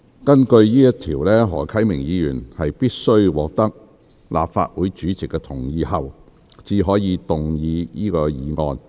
根據該條，何啟明議員必須獲得立法會主席同意後，才可動議此議案。